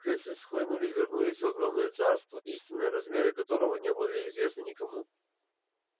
крысы схлынули и вернулись в огромное царство истинные размеры которого не были известны никому